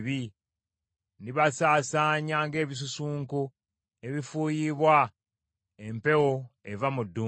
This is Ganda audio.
“Ndibasaasaanya ng’ebisusunku ebifuuyibwa empewo eva mu ddungu.